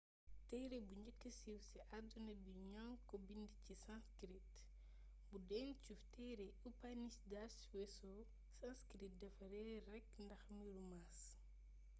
téere bu njëkkë siiw ci àdduna bi ñoŋi ko bind ci sanskrit bu dencu téere upanishads weesoo sanskrit dafa reer rekk ndax mbiru maas